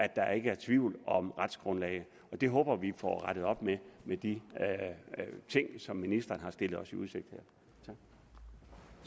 der ikke er tvivl om retsgrundlaget og det håber vi får rettet op med de ting som ministeren har stillet os i udsigt her